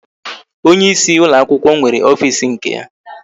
Onyeisi ụlọakwụkwọ nwere ofisi nke ya